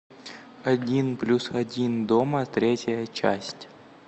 один плюс один дома третья часть